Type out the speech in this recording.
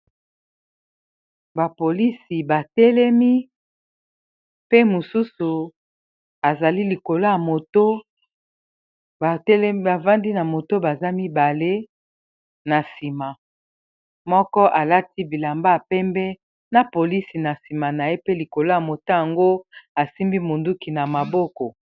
bapolisi batelemi pe mususu azali likoloya motobafandi na moto baza mibale na nsima moko alati bilamba ya pembe na polisi na nsima na ye pe likolo ya moto yango asimbi monduki na maboko